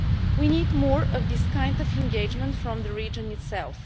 We need more of this kind of engagement from the region itself.